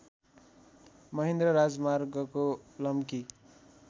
महेन्द्र राजमार्गको लम्की